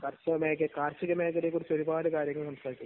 കാർഷികമേഖലയെക്കുറിച്ച് ഒരുപാട് കാര്യങ്ങൾ സംസാരിച്ചു.